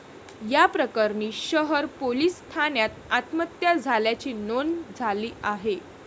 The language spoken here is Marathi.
या प्रकरणी शहर पोलिस ठाण्यात आत्महत्या झाल्याची नोंद झाली आहे.